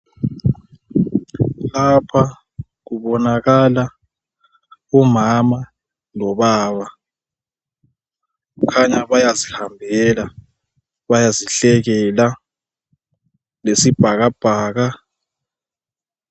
lapha kubonakala umama lobaba kukhanya bayazihambela bayazihlekela lesibhakabhaka